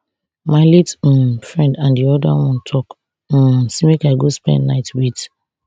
my late um friend and di oda one tok um say make i go spend night wit